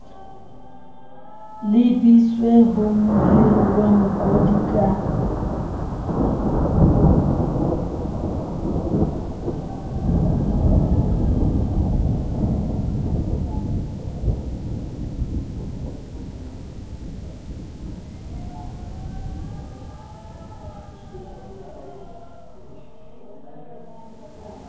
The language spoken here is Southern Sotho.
lebiswe ho mohiriwa mokodi ka